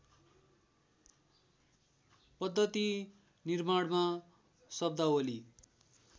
पद्धति निर्माणमा शब्दावली